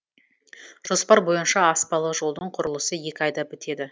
жоспар бойынша аспалы жолдың құрылысы екі айда бітеді